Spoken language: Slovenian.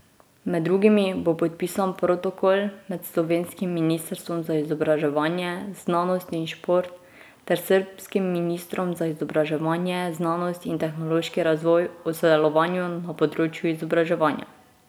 Med drugim bo podpisan protokol med slovenskim ministrstvom za izobraževanje, znanost in šport ter srbskim ministrstvom za izobraževanje, znanost in tehnološki razvoj o sodelovanju na področju izobraževanja.